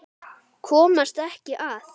Komast ekki að.